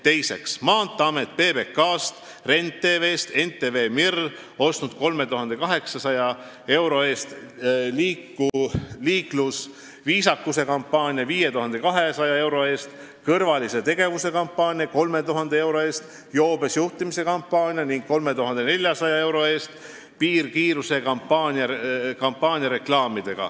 Teiseks, Maanteeamet ostis reklaamiaega PBK-lt, Ren TV-lt ja NTV Mirilt: 3800 euro eest liiklusviisakuse kampaaniaks, 5200 euro eest kõrvaliste tegevuste kampaaniaks, 3000 euro eest joobes juhtimise vastaseks kampaaniaks ja 3400 euro eest piirkiiruse kampaaniaks.